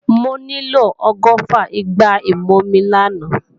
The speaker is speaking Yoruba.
Mo nílò ọgọ́fà igbá ìmumi làná